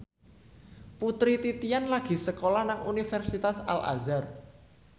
Putri Titian lagi sekolah nang Universitas Al Azhar